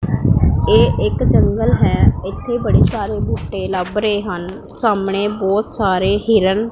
ਇਹ ਇੱਕ ਜੰਗਲ ਹੈ ਇੱਥੇ ਬੜੇ ਸਾਰੇ ਬੂਟੇ ਲੱਭ ਰਹੇ ਹਨ ਸਾਹਮਣੇ ਬਹੁਤ ਸਾਰੇ ਹੀਰਨ --